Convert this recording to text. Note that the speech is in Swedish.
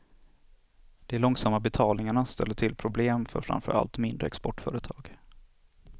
De långsamma betalningarna ställer till problem för framför allt mindre exportföretag.